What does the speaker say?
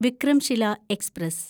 Vikramshila express